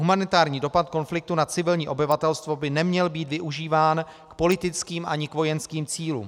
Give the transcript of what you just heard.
Humanitární dopad konfliktu na civilní obyvatelstvo by neměl být využíván k politickým ani k vojenským cílům.